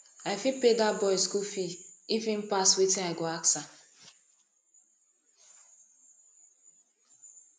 i fit pay dat boy school fees if im pass wetin i go ask am